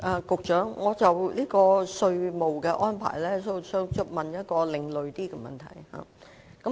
局長，就稅務安排，我想問一個較為另類的問題。